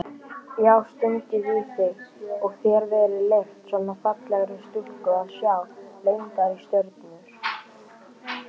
Já stungið í þig og þér verið leyft, svona fallegri stúlku að sjá leyndar stjörnur?